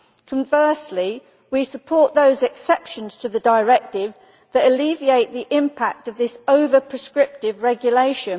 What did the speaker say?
Conversely, we support those exceptions to the directive that alleviate the impact of this over prescriptive regulation.